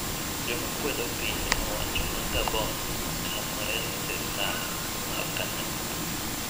Jomakwedo piny owacho ma Gabon otamore Sirkal mar kanyakla.